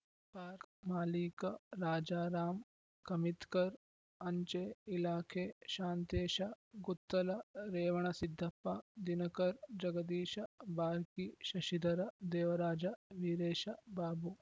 ಪಾಕ್ ಮಾಲೀಕ ರಾಜಾರಾಂ ಖಮಿತ್ಕರ್‌ ಅಂಚೆ ಇಲಾಖೆ ಶಾಂತೇಶ ಗುತ್ತಲ ರೇವಣಸಿದ್ದಪ್ಪ ದಿನಕರ್‌ ಜಗದೀಶ ಬಾರ್ಕಿ ಶಶಿಧರ ದೇವರಾಜ ವೀರೇಶ ಬಾಬು